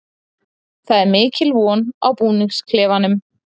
Það er mikil von í búningsklefanum.